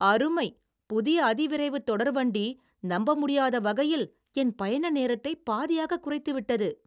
அருமை! புதிய அதிவிரைவு தொடர் வண்டி நம்ப முடியாத வகையில் என் பயண நேரத்தைப் பாதியாக குறைத்து விட்டது.